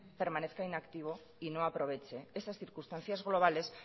permanezca inactivo y no aproveche estas circunstancias globales